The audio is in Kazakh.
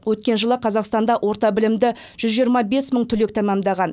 өткен жылы қазақстанда орта білімді жүз жиырма бес мың түлек тәмәмдаған